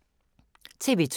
TV 2